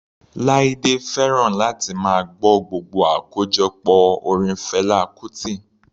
Laide fẹ́ràn láti máa gbọ́ gbogbo àkójọpọ̀ orin Fela Kuti.